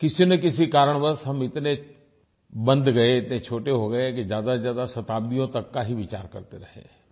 किसीनकिसी कारणवश हम इतने बंध गये इतने छोटे हो गये कि ज्यादाज्यादा शताब्दियों तक का ही विचार करते रहे